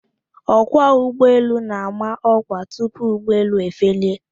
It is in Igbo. Ọkwọ ụgbọelu na-ama ọkwa tupu ụgbọelu efelie.